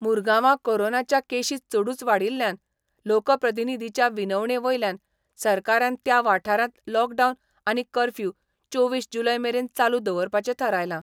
मुरगांवां कोरोनाच्यो केशी चडूच वाडिल्ल्यान लोकप्रतिनिधीच्या विनवणे वयल्यान सरकारान त्या वाठारांत लॉकडावन आनी कर्फ्यू चोवीस जुलय मेरेन चालू दवरपाचे थारायलां.